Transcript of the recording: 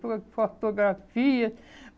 Por fotografia.